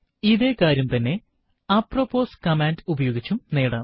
ഇതേ കാര്യം തന്നെ അപ്രൊപ്പോസ് കമാൻഡ് ഉപയോഗിച്ചും നേടാം